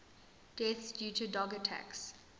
deaths due to dog attacks